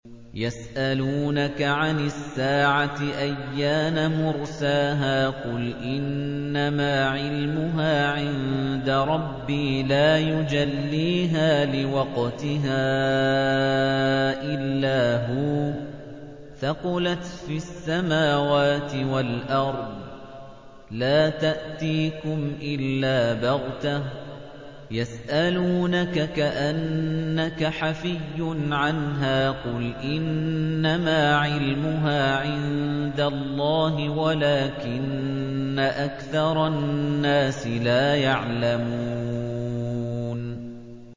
يَسْأَلُونَكَ عَنِ السَّاعَةِ أَيَّانَ مُرْسَاهَا ۖ قُلْ إِنَّمَا عِلْمُهَا عِندَ رَبِّي ۖ لَا يُجَلِّيهَا لِوَقْتِهَا إِلَّا هُوَ ۚ ثَقُلَتْ فِي السَّمَاوَاتِ وَالْأَرْضِ ۚ لَا تَأْتِيكُمْ إِلَّا بَغْتَةً ۗ يَسْأَلُونَكَ كَأَنَّكَ حَفِيٌّ عَنْهَا ۖ قُلْ إِنَّمَا عِلْمُهَا عِندَ اللَّهِ وَلَٰكِنَّ أَكْثَرَ النَّاسِ لَا يَعْلَمُونَ